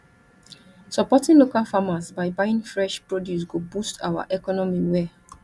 supporting local farmers by buying fresh produce go boost our economy well